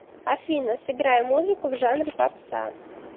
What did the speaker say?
афина сыграй музыку в жанре попса